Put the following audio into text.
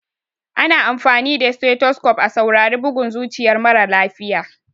Ana amfani da stethoscope a saurari bugun zuciyar mara lafiya.